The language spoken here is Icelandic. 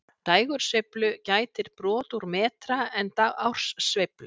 Dægursveiflu gætir brot úr metra en árssveiflu